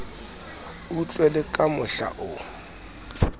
utlwe le ka mohla o